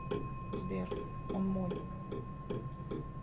сбер он мой